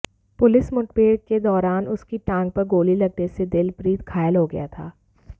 police मुठभेड़ के दौरान उसकी टांग पर गोली लगने से दिलप्रीत घायल हो गया था